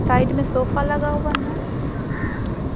Side में sofa लगा हुआ है।